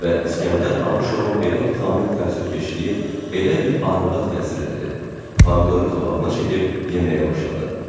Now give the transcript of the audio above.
Və İsgəndər Abışovun belə vitamin təəssübkeşliyi elə bil arvada təsir elədi, pomidoru qabağına çəkib yeməyə başladı.